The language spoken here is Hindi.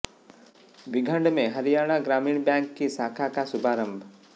बीघड़ में हरियाणा ग्रामीण बैंक की शाखा का शुभारंभ